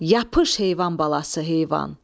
Yapış heyvan balası heyvan!